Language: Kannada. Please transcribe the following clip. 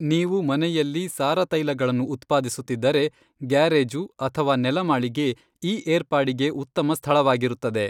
ನೀವು ಮನೆಯಲ್ಲಿ ಸಾರ ತೈಲಗಳನ್ನು ಉತ್ಪಾದಿಸುತ್ತಿದ್ದರೆ, ಗ್ಯಾರೇಜು ಅಥವಾ ನೆಲಮಾಳಿಗೆ ಈ ಏರ್ಪಾಡಿಗೆ ಉತ್ತಮ ಸ್ಥಳವಾಗಿರುತ್ತದೆ.